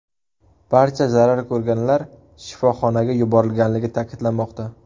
Barcha zarar ko‘rganlar shifoxonaga yuborilganligi ta’kidlanmoqda.